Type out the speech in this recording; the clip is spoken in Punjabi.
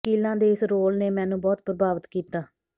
ਵਕੀਲਾਂ ਦੇ ਇਸ ਰੋਲ ਨੇ ਮੈਨੂੰ ਬਹੁਤ ਪ੍ਰਭਾਵਿਤ ਕੀਤਾ